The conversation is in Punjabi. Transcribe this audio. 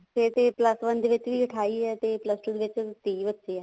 ਫੇਰ ਤੇ plus one ਦੇ ਵਿੱਚ ਅਠਾਈ ਆ ਤੇ ਤੇ ਪੂਸ two ਦੇ ਵਿੱਚ ਤੀਹ ਬੱਚੇ ਆ